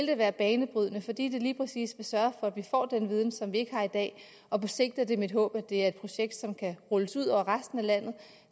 det være banebrydende fordi det lige præcis vil sørge for at vi får den viden som vi ikke har i dag og på sigt er det mit håb at det er et projekt som kan rulles ud over resten af landet